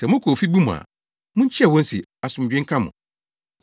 Sɛ mokɔ ofi bi mu a, munkyia wɔn se, ‘Asomdwoe nka mo!’